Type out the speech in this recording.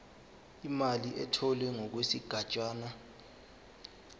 imali etholwe ngokwesigatshana